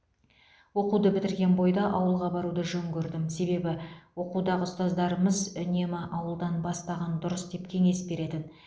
оқуды бітірген бойда ауылға баруды жөн көрдім себебі оқудағы ұстаздарымыз үнемі ауылдан бастаған дұрыс деп кеңес беретін